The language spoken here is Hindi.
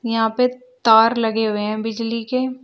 यहां पे तार लगे हुए हैं बिजली के--